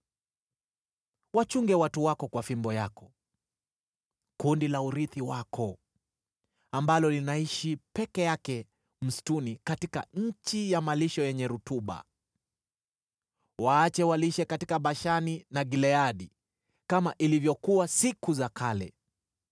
Wachunge watu wako kwa fimbo yako, kundi la urithi wako, ambalo linaishi peke yake msituni, katika nchi ya malisho yenye rutuba. Waache walishe katika Bashani na Gileadi kama ilivyokuwa siku za kale.